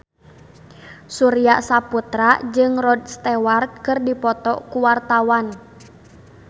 Surya Saputra jeung Rod Stewart keur dipoto ku wartawan